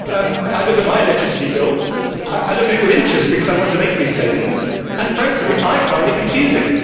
I look at my electricity bill, I look at it with interest because I want to make these savings, and frankly I find it confusing.